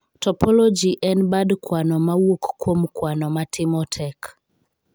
Topology en bad kwano ma wuok kuom kwano ma timo tek.